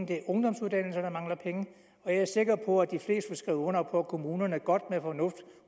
det er ungdomsuddannelserne der mangler penge jeg er sikker på at de fleste skrive under på at kommunerne godt med fornuft